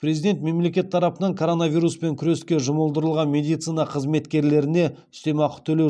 президент мемлекет тарапынан коронавируспен күреске жұмылдырылған медицина қызметкерлеріне үстемақы төлеу